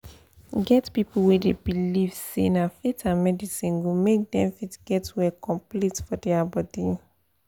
e get people wey dey believe say na faith and medicine go make dem fit get well complete for their body.